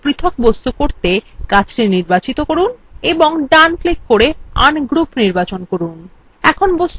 এগুলিকে দলমুক্ত করে পৃথক বস্তু করতে গাছটি নির্বাচিত করুন এবং ডান click করে ungroup নির্বাচন করুন